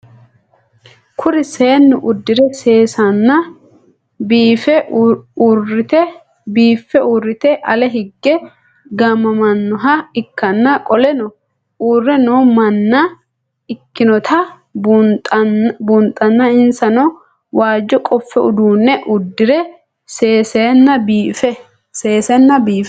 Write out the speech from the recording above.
Kuri seenu udire sesena biife urite ale hige gamamanoha ikana qoleno uure noo manna ikinotana bunxana insano waajo qofe udune udire sesena biife